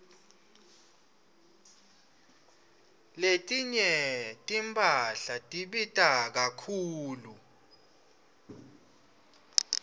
letinye timphahla tibita kakhulu